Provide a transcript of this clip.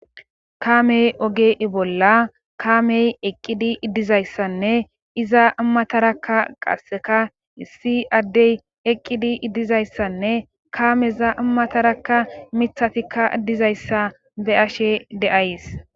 Kamey oge i bolla kaamey eqqidi iddizayssanne iza ammatarakka qasseka issi addey eqqidi iddizayssanne kaameza ammatarakka mithatikka dizayssa be ashe de'ays..